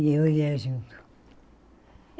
E eu ia junto.